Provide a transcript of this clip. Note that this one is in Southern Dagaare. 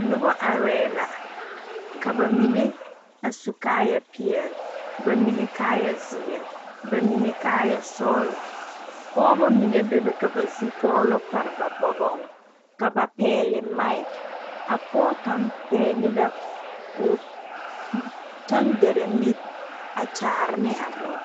Noba are la ka bamine a su kaaya peɛle, bamine kaaya ziiri, bamine kaaya sɔglɔ Pɔgeba mine bebe ka ba zukɔlo pare ba boɔgɔŋ ka ba pegle mak pɔge kaŋa pegle la o tangaare mire a kyaare ne a dɔɔ.